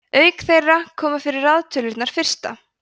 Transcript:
auk þeirra koma fyrir raðtölurnar fyrsta